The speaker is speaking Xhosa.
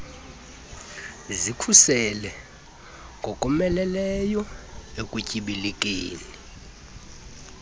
zikhuseleke ngokomeleleyo ekutyibilikeni